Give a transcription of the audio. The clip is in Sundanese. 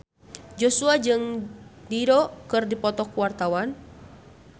Joshua jeung Dido keur dipoto ku wartawan